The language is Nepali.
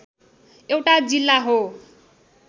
एउटा जिल्ला हो